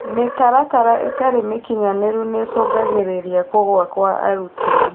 Mĩtaratara ĩtarĩ mĩkinyanĩru nĩicungagĩrĩria kũgũa kwa arutwo